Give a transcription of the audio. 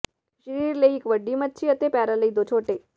ਸਰੀਰ ਲਈ ਇੱਕ ਵੱਡੀ ਮੱਛੀ ਅਤੇ ਪੈਰਾਂ ਲਈ ਦੋ ਛੋਟੇ